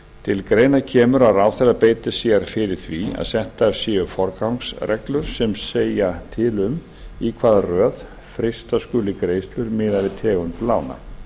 til greina kemur að ráðherra beiti sér fyrir því að settar séu forgangsreglur sem segja til um í hvaða röð frysta skuli greiðslur miðað við tegund lána